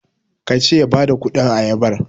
ka ce ya badakudin ayabar?